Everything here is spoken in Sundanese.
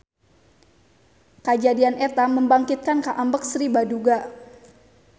Kajadian eta membangkitkan kaambek Sri Baduga.